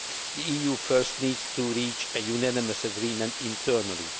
The EU first needs to reach a unanimous agreement internally.